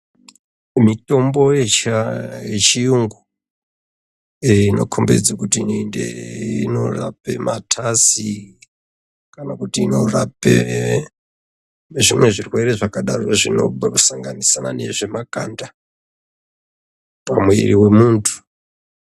Mitombo yechiyungu inokombidze kuti inorape matasi kana kuti inorape zvimwe zvirwere zvakadaro zvinosanganisira nezvemakanda pamuwiri womuntu.